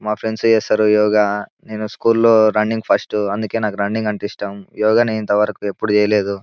మా ఫ్రెండ్స్ చేస్తారు యోగా నేను స్కూల్లో రన్నింగ్ లో ఫస్ట్ అందుకే నాకు రన్నింగ్ అంటే ఇష్టం యోగా ని ఇంతవరకు ఎప్పుడు చేయలేదు.